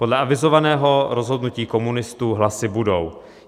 Podle avizovaného rozhodnutí komunistů hlasy budou.